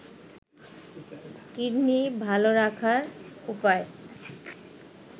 kidney ভালো রাখার উপায়